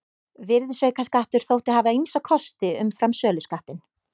Virðisaukaskattur þótti hafa ýmsa kosti umfram söluskattinn.